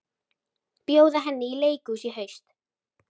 Bjóða henni í leikhús í haust.